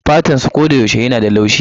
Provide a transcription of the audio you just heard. Fatansu koyaushe yana da laushi